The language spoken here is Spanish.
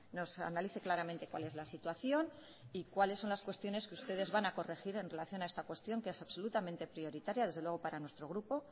nos analice claramente cual es la situación y cuales son las cuestiones que ustedes van a corregir en relación a esta cuestión que es absolutamente prioritaria desde luego para nuestro grupo